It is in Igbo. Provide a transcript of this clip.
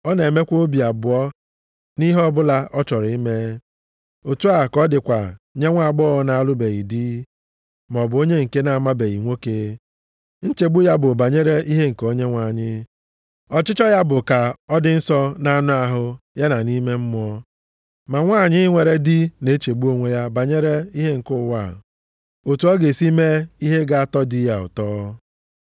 Ọ na-enwekwa obi abụọ nʼihe ọbụla ọ chọrọ ime. Otu a ka ọ dịkwa nye nwaagbọghọ na-alụbeghị di maọbụ onye nke na-amabeghị nwoke, nchegbu ya bụ banyere ihe nke Onyenwe anyị. Ọchịchọ ya bụ ka ọ dị nsọ nʼanụ ahụ ya na nʼime mmụọ ya. Ma nwanyị nwere di na-echegbu onwe ya banyere ihe nke ụwa a, otu ọ ga-esi mee ihe ga-atọ di ya ụtọ.